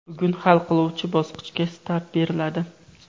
Bugun hal qiluvchi bosqichga start beriladi.